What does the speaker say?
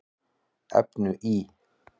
efnu í